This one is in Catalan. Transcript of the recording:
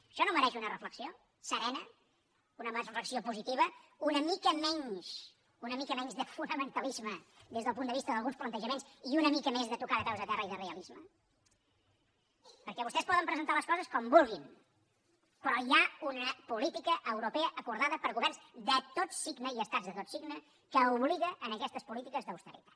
això no mereix una reflexió serena una reflexió positiva una mica menys de fonamentalisme des del punt de vista d’alguns plantejaments i una mica més de tocar de peus a terra i de realisme perquè vostès poden presentar les coses com vulguin però hi ha una política europea acordada per governs de tot signe i estats de tot signe que obliga a aquestes polítiques d’austeritat